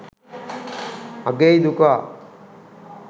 අගෙයි දුකා